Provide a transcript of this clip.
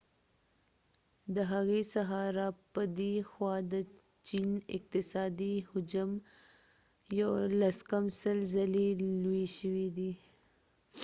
د هغی څخه را پدی خوا د چین اقتصادی حجم 90 ځلی لوی شوی دی